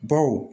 Baw